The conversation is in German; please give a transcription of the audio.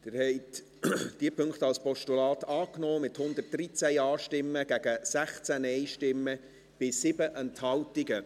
Sie haben diese Punkte als Postulat angenommen, mit 113 Ja- zu 16 Nein-Stimmen bei 7 Enthaltungen.